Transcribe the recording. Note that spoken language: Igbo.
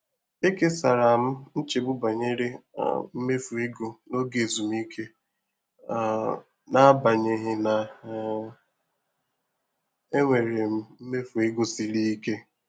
Ekesara m nchegbu banyere um imefu ego n'oge ezumike um n'agbanyeghị na um enwere m mmefu ego siri ike.